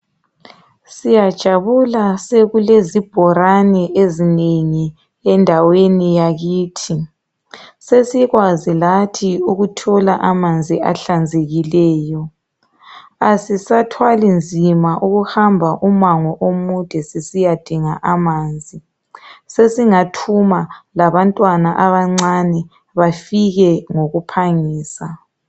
Siyajabula sekulezibholane ezinengi endaweni yakithi. sesikwazi lathi ukuthola amanzi ahlanzekileyo. Asisathwali nzima ukuhamba umango omude aiaiyadinga amanzi. Sesingathuma labantwana abancane bafike ngokuphangisa